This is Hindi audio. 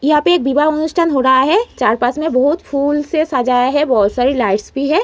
यहाँ पर एक विवाह अनुष्ठान हो रहा है। चार पास में बहोत फूल से सजाया है। बहोत सारी लाइट्स भी है।